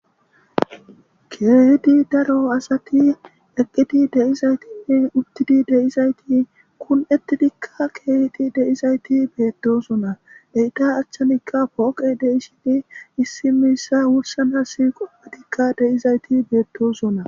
keedi daro asati eqqidi deizaytinne uttidi deizayti kun7etidikka keedi deizayti beettosona eyda achchanikka pooqe deishini issimissa wursanhasi qoppadikka deizayti beettosona